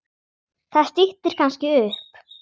Það styttir kannski upp.